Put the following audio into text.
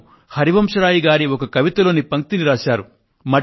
వారు హరివంశరాయ్ గారి ఒక కవిత లోని పంక్తిని రాశారు